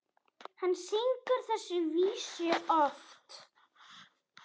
Hann syngur þessar vísur oft.